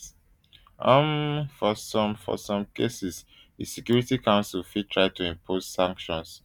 um for some for some cases di security council fit try to impose sanctions um